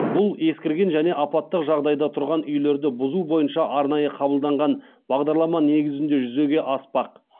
бұл ескірген және апаттық жағдайда тұрған үйлерді бұзу бойынша арнайы қабылданған бағдарлама негізінде жүзеге аспақ